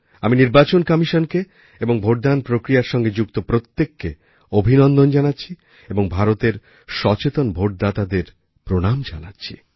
আমি নির্বাচন কমিশনকে এবং ভোটদান প্রক্রিয়ার সঙ্গে যুক্ত প্রত্যেককে অভিনন্দন জানাচ্ছি এবং ভারতের সচেতন ভোটদাতাদের প্রণাম জানাচ্ছি